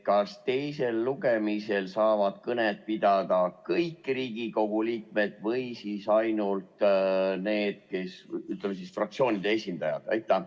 Kas teisel lugemisel saavad kõnet pidada kõik Riigikogu liikmed või ainult fraktsioonide esindajad?